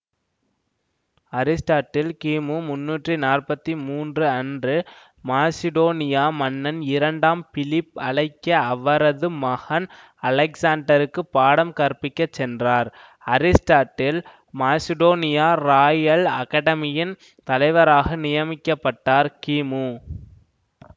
Aristotle கிமு முண்ணூற்றி நாற்பத்தி மூன்று அன்று மாசிடோனியா மன்னன் இரண்டாம் பிலிப் அழைக்க அவரது மகன் அலெக்சாண்டர்க்கு பாடம் கற்பிக்கச் சென்றார்அரிஸ்டாட்டில் மாசிடோனியா ராயல் அகாடெமியின் தலைவராக நியமிக்கப்பட்டார்கிமு